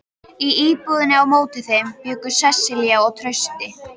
Í íbúðinni á móti þeim bjuggu Sesselía og Trausti.